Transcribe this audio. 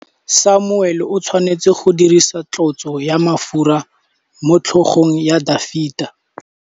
Samuele o tshwanetse go dirisa tlotsô ya mafura motlhôgong ya Dafita.